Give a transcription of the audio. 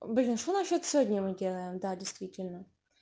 блин что насчёт сегодня мы делаем да действительно